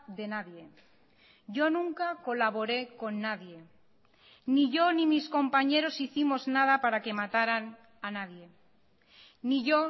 de nadie yo nunca colaboré con nadie ni yo ni mis compañeros hicimos nada para que mataran a nadie ni yo